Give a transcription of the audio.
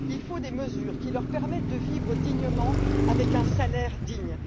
Il faut des mesures qui leur permettent de vivre dignement avec un salaire digne.